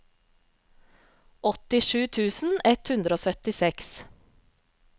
åttisju tusen ett hundre og syttiseks